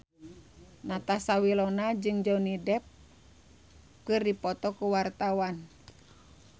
Natasha Wilona jeung Johnny Depp keur dipoto ku wartawan